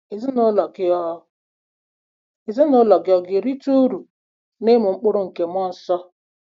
Ezinụlọ gị ọ̀ Ezinụlọ gị ọ̀ ga-erite uru n'ịmụ mkpụrụ nke mmụọ nsọ?